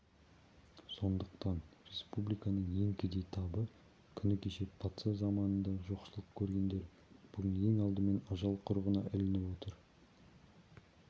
сондықтан республиканың ең кедей табы күні кеше патша заманында жоқшылық көргендер бүгін ең алдымен ажал құрығына ілініп отыр